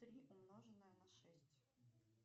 три умноженное на шесть